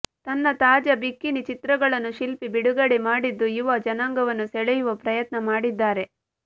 ತನ್ನ ತಾಜಾ ಬಿಕಿನಿ ಚಿತ್ರಗಳನ್ನು ಶಿಲ್ಪಿ ಬಿಡುಗಡೆ ಮಾಡಿದ್ದು ಯುವ ಜನಾಂಗವನ್ನು ಸೆಳೆಯುವ ಪ್ರಯತ್ನ ಮಾಡಿದ್ದಾರೆ